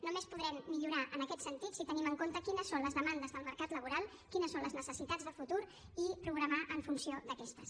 només podrem millorar en aquest sentit si tenim en compte quines són les demandes del mercat laboral quines són les necessitats de futur i programar en funció d’aquestes